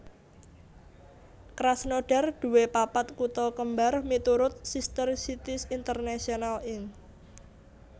Krasnodar duwé papat kutha kembar miturut Sister Cities International Inc